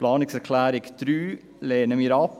Die Planungserklärung 3 lehnen wir ab.